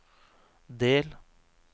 del